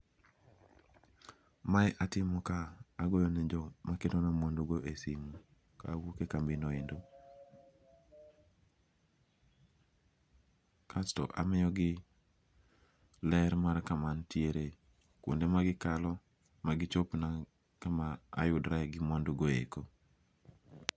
Mae atimo ka ogoyo ne jo makelo na mwandu go e simu kawuok e kambi no endo kasto amiyogi ler mar kama antiere, kwonde ma gikalo, ma gichop na kama ayudrae gi mwandu go eko